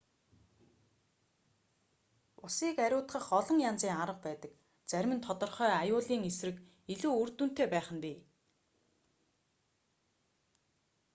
усыг ариутгах олон янзын арга байдаг зарим нь тодорхой аюулын эсрэг илүү үр дүнтэй байх нь бий